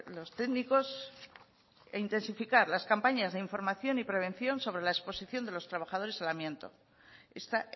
los técnicos e intensificar las campañas de información y prevención sobre la exposición de los trabajadores al amianto esta